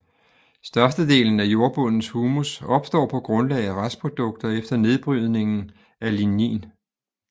Størstedelen af jordbundens humus opstår på grundlag af restprodukter efter nedbrydningen af lignin